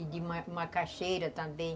E de de macaxeira também.